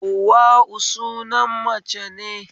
Hauwa'u sunan mace ne